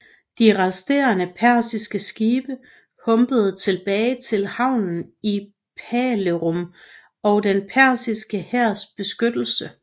De resterende persiske skibe humpede tilbage til havnen i Phalerum og den persiske hærs beskyttelse